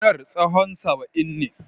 Gonar tsahon saba'in ne.